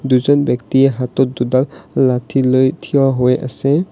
দুজন ব্যক্তিয়ে হাতত দুডাল লাঠি লৈ থিয় হৈ আছে।